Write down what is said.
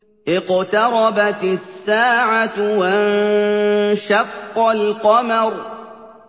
اقْتَرَبَتِ السَّاعَةُ وَانشَقَّ الْقَمَرُ